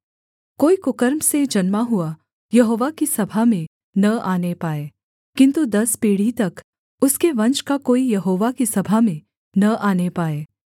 कोई कुकर्म से जन्मा हुआ यहोवा की सभा में न आने पाए किन्तु दस पीढ़ी तक उसके वंश का कोई यहोवा की सभा में न आने पाए